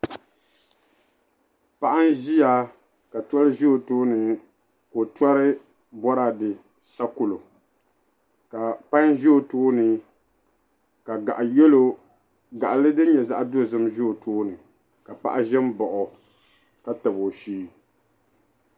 Paɣa n ʒia ka toli ʒi o tooni ka o tori boraade sakoro ka payi ʒi o tooni ka gaɣali din nyɛ zaɣa dozim ʒi o tooni ka paɣa ʒɛ m baɣi o ka tabi o shee.